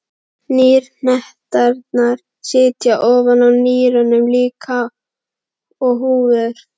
Nýrnahetturnar sitja ofan á nýrunum líkt og húfur.